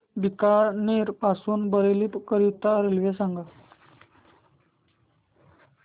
बीकानेर पासून बरेली करीता रेल्वे सांगा